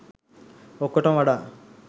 ඔක්කොටම වඩා